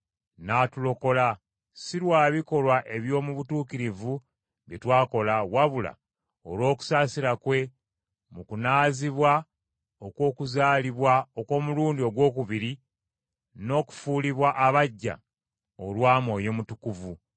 n’atulokola, si lwa bikolwa eby’omu butuukirivu bye twakola, wabula olw’okusaasira kwe mu kunaazibwa okw’okuzaalibwa okw’omulundi ogwokubiri n’okufuulibwa abaggya olwa Mwoyo Mutukuvu,